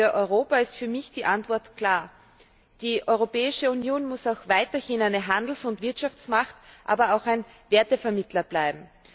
Für Europa ist für mich die Antwort klar Die Europäische Union muss auch weiterhin eine Handels und Wirtschaftsmacht, aber auch ein Wertevermittler bleiben.